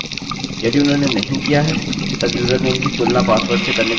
यदि उन्होंने नहीं किया है तब यूजरनेम कि तुलना पासवर्ड से करने का कोई मतलब नहीं है